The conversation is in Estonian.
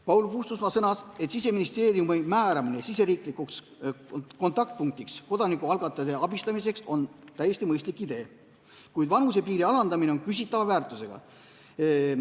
Paul Puustusmaa sõnas, et Siseministeeriumi määramine riigisiseseks kontaktpunktiks kodanikualgatuse abistamiseks on täiesti mõistlik idee, kuid vanusepiiri alandamine on küsitava väärtusega.